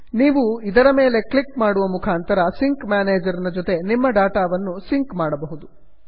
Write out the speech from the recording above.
ನೀವು ಇದರ ಮೇಲೆ ಕ್ಲಿಕ್ ಮಾಡುವ ಮುಖಾಂತರ ಸಿಂಕ್ ಮ್ಯಾನೇಜರ್ ನ ಜೊತೆ ನಿಮ್ಮ ಡಾಟಾ ವನ್ನು ಸಿಂಕ್ ಮಾಡಬಹುದು